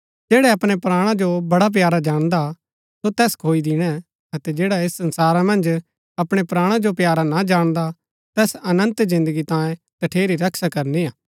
जैडा अपणै प्राणा जो बडा प्यारा जाणदा सो तैस खोई दिणै अतै जैडा ऐस संसारा मन्ज अपणै प्राणा जो प्यारा ना जाणदा तैस अनन्त जिन्दगी तांयें तठेरी रक्षा करनी हा